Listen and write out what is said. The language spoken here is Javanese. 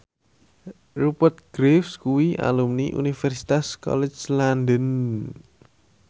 Rupert Graves kuwi alumni Universitas College London